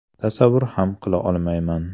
Tasavvur ham qila olmayman.